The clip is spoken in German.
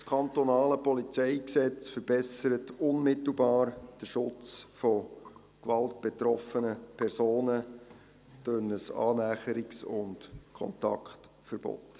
Das PolG verbessert unmittelbar den Schutz von durch Gewalt betroffenen Personen durch ein Annäherungs- und Kontaktverbot.